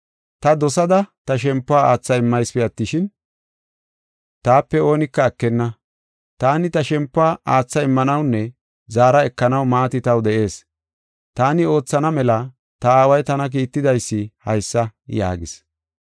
Ta dosada ta shempuwa aatha immaysipe attishin, taape oonika ekenna. Taani ta shempuwa aatha immanawunne zaara ekanaw maati taw de7ees. Taani oothana mela ta Aaway tana kiittidaysi haysa” yaagis.